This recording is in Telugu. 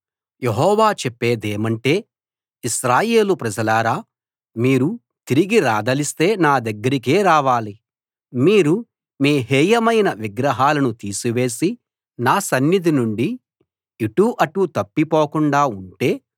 యెహోవా చెప్పేదేమంటే ఇశ్రాయేలు ప్రజలారా మీరు తిరిగి రాదలిస్తే నా దగ్గరకే రావాలి మీరు మీ హేయమైన విగ్రహాలను తీసివేసి నా సన్నిధి నుండి ఇటూ అటూ తప్పిపోకుండా ఉంటే